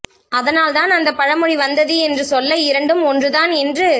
அதானால் தான் அந்த பழமொழி வந்தது என்று சொல்ல இரண்டும் ஒன்றுதான் என்று